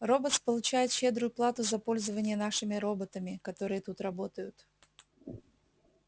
роботс получает щедрую плату за пользование нашими роботами которые тут работают